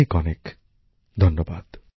অনেক অনেক ধন্যবাদ